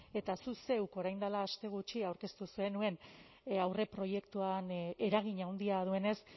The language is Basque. eta zuk zeuk orain dela aste gutxi aurkeztu zenuen aurreproiektuan eragin handia duenez